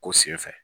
Ko senfɛ